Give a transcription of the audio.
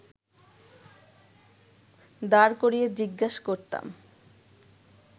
দাঁড় করিয়ে জিজ্ঞাস করতাম